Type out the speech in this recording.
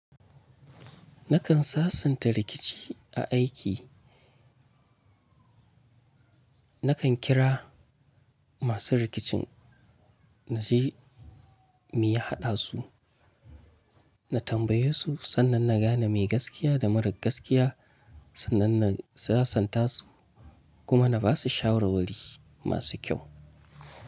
Nakan sasanta rikici a aiki. Nakan kira masu rikicin na je meya haɗa su, na tambaye su sannan na gane me gaskiya da marar gaskiya sannan na sasanta su kuma na basu shawarwari masu kyau.